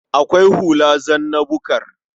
Akwai hula zanna-bukar.